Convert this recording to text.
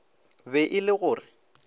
be e le go re